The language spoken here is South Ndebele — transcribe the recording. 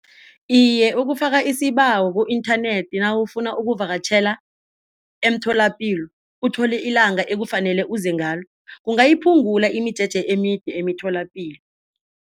Iye, ukufaka isibawo ku-internet nawufunaii ukuvakatjhela emtholapilo uthole ilanga ekufanele uze ngalo kungayiphungula imijeje emide emitholapilo.